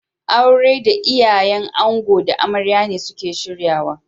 Auren da iyayen ango da amarya ne suke shiryawa.